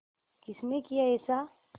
किसने किया ऐसा